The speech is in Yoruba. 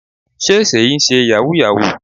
Sé Seyi ń ṣe yahoo yahoo.